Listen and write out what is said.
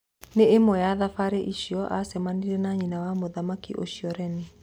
Nĩ ĩmwe ya thabari icio acemanirie na nyina wa mũthaki ũcio, Reni.